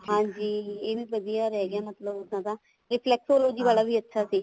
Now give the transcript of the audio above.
ਹਾਂਜੀ ਇਹ ਵੀ ਵਧੀਆ ਰਹੀ ਗਿਆ ਮਤਲਬ ਉਹਨਾ ਦਾ reflexology ਵਾਲਾ ਵੀ ਅੱਛਾ ਸੀ